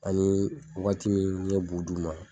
Ani waati min n ye bu d'u ma.